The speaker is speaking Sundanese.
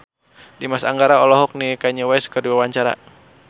Dimas Anggara olohok ningali Kanye West keur diwawancara